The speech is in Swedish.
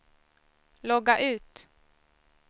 logga ut